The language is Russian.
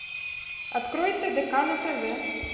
открой тдк на тв